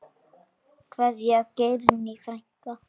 Kveðja, Geirný frænka.